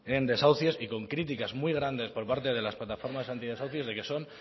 en desahucios y con críticas muy grandes por parte de las plataformas antidesahucios de que son